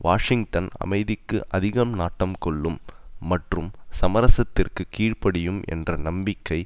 Washington அமைதிக்கு அதிக நாட்டம் கொள்ளும் மற்றும் சமரசத்திற்கு கீழ் படியும் என்ற நம்பிக்கை